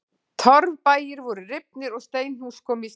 Torfbæir voru rifnir og steinhús komu í staðinn.